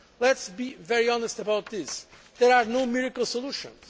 a whole. Let us be very honest about this. There are no miracle solutions.